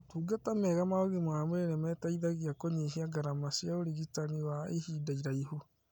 Motungata mega ma ũgima wa mwĩrĩ nĩmateithagia kũnyihia ngarama cia ũrigitani wa ihinda iraihu